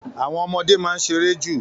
Àwọn ọmọdé máa ń ṣeré jù